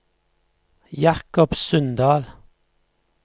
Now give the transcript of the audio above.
Jacob Sundal